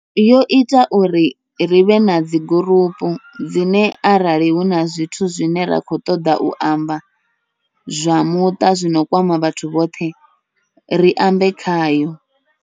Yo ita uri rivhe nadzi gurupu, dzine arali huna zwithu zwine ra khou ṱoḓa u amba, zwa muṱa zwino kwama vhathu vhoṱhe ri ambe khayo.